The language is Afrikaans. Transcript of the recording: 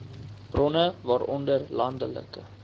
bronne waaronder landelike